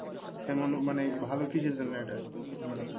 কেমন মানে ভালো কিসের জন্য এটা? মানে